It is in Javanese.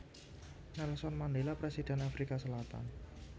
Nelson Mandela Presiden Afrika Selatan